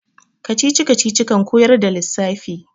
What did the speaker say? kacici-kacici kan koyar da lissafi